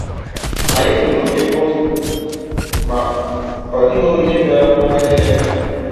Ànyị nụrụ okémkpọtụ, ma ọ dị̀ghị onye bịàrà kọ̀waa ihe na-eme